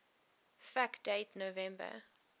fact date november